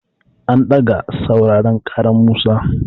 An ɗaga sauraren ƙaran Musa.